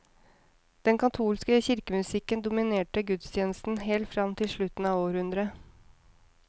Den katolske kirkemusikken dominerte gudstjenestene helt fram til slutten av århundret.